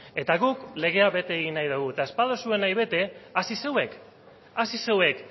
eta guk legea bete egin nahi dugu eta ez baduzue nahi bete hasi zuek hasi zuek